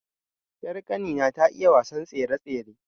Ƴar kani na ta iya wasa tsere-tsere